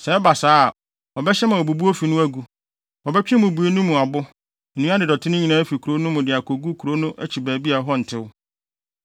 Sɛ ɛba saa a, ɔbɛhyɛ ama wɔabubu ofi no agu. Wɔbɛtwe mmubui no mu abo, nnua ne dɔte no nyinaa afi kurow no mu de akogu kurow no akyi baabi a ɛhɔ ntew.